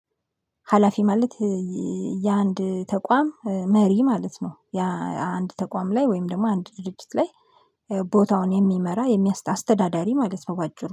ሀላፊ ማለት የአንድ ተቋም መሪ ማለት ነው። የአንድ ተቋም ላይ ወይም ደግሞ አንድ ድርጅት ላይ ቦታውን የሚመራ የሚያስተ አስተዳዳሪ ማለት ነው። በአጭሩ